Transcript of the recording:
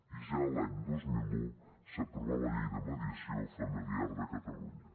i ja l’any dos mil un s’aprovà la llei de mediació familiar de catalunya